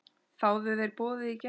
Þáðu þeir boðið í gær.